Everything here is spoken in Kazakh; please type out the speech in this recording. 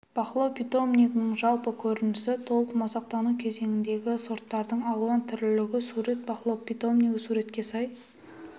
бақылау питомнигінің жалпы көрінісі толық масақтану кезеңіндегі сорттардың алуан түрлілігі сурет бақылау питомнигі суретке сай